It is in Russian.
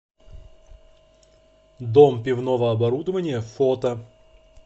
дом пивного оборудования фото